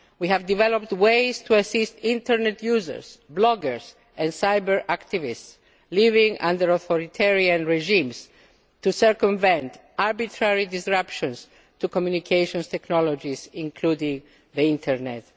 Iran. We have developed ways to assist internet users, bloggers and cyber activists living under authoritarian regimes to circumvent arbitrary disruptions to communications technologies, including the internet.